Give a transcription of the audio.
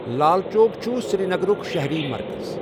لال چوک چُھ سِری نَگَرُک شَہَرى مَرکَز.